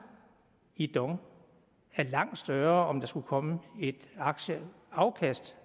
i dong er langt større end om der skulle komme et aktieafkast